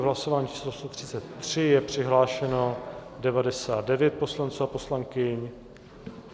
V hlasování číslo 133 je přihlášeno 99 poslanců a poslankyň.